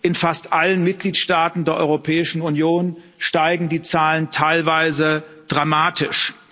In fast allen Mitgliedstaaten der Europäischen Union steigen die Zahlen teilweise dramatisch.